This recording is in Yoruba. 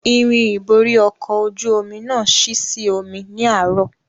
Irin ìborí ọkọ̀ ojú omi náà ṣí sí omi ní àárò